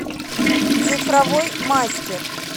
цифровой мастер